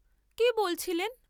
কি বলছিলেন?